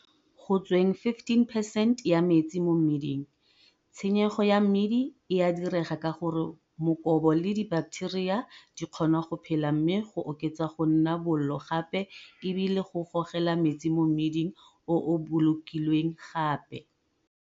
Go tsweng 15 percent ya metsi mo mmiding, tshenyego ya mmidi e a direga ka gore mokobo le dibaketeria di kgona go phela mme go oketsa go nna bollo gape e bile go gogela metsi mo mmiding o o bolokilweng gape.